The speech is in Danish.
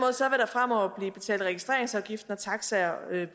fremover blive betalt registreringsafgift når taxaer